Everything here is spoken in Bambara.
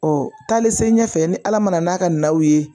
Ɔ taali se ɲɛfɛ ni ala nana n'a ka naw ye